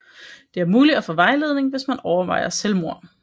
Det er mulig at få vejledning hvis man overvejer selvmord